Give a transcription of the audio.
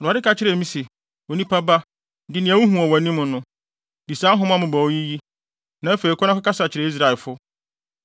Awurade ka kyerɛɛ me se, “Onipa ba, di nea wuhu wɔ wʼanim no, di saa nhoma mmobɔwee yi, na afei kɔ na kɔkasa kyerɛ Israelfo.”